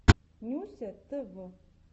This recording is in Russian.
нюся тв